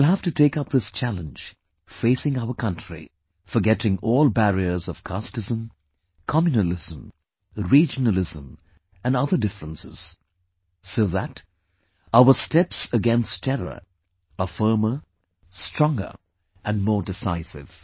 We shall have to take up this challenge facing our country, forgetting all barriers of casteism, communalism, regionalism and other difference, so that, our steps against terror are firmer, stronger and more decisive